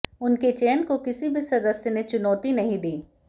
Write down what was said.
उनके चयन को किसी भी सदस्य ने चुनौती नहीं दी